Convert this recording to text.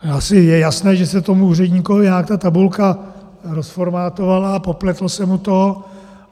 Asi je jasné, že se tomu úředníkovi nějak ta tabulka rozformátovala a popletlo se mu to.